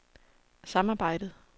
samarbejdet